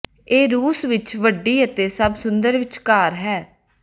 ਇਹ ਰੂਸ ਵਿਚ ਵੱਡੀ ਅਤੇ ਸਭ ਸੁੰਦਰ ਵਿੱਚਕਾਰ ਹੈ